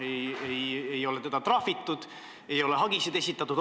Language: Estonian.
Teda ei ole trahvitud, ei ole hagisid esitatud.